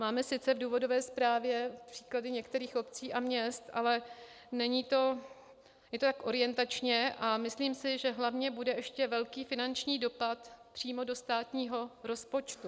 Máme sice v důvodové zprávě příklady některých obcí a měst, ale je to tak orientačně a myslím si, že hlavně bude ještě velký finanční dopad přímo do státního rozpočtu.